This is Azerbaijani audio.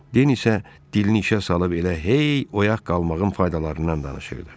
Den isə dilini işə salıb elə hey oyaq qalmağın faydalarından danışırdı.